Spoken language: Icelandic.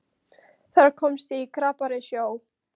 Þar komst ég í krappari sjó.